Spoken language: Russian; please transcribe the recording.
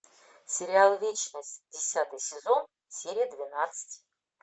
сериал вечность десятый сезон серия двенадцать